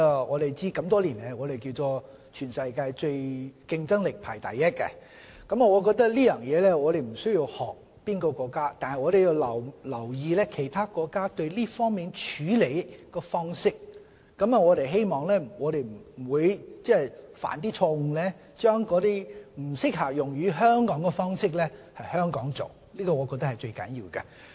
我們都知道香港多年來在全球競爭力都排名第一，我覺得我們在這方面不需要學習哪個國家，但我們要留意其他國家在這方面的處理方式，希望我們不會誤把不適用於香港的方式在香港使用，我覺得這是最重要的。